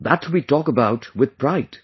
That we talk about with pride